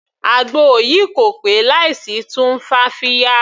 Àgbo yìí kò pé láì sí tumfafiya.